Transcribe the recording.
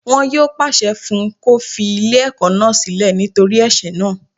Wọn yóò pàṣẹ fún un kó fi ilé ẹ̀kọ́ náà sílẹ̀ nítorí ẹ̀sẹ̀ náà